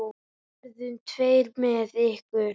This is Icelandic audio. Við verðum tveir með ykkur.